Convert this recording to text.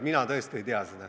Mina tõesti ei tea seda.